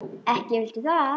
Ekki vilt þú það?